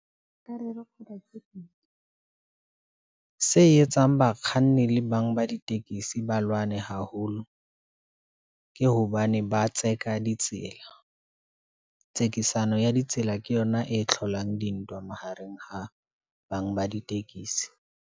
Se etsang bakganni le bang ba ditekisi ba lwane haholo, ke hobane ba tseka ditsela. Tsekisano ya ditsela ke yona e tlholang dintwa mahareng ha bang ba ditekisi.